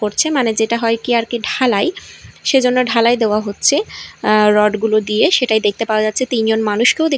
করছে মানে যেটা হয় কি আর কি ঢালাই সেজন্য ঢালাই দেওয়া হচ্ছে আঃ রড -গুলো দিয়ে সেটাই দেখতে পাওয়া যাচ্ছে তিনজন মানুষকেও দে--